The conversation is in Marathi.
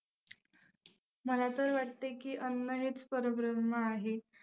मला तर वाटतंय की अन्न हेच परब्रम्ह आहे.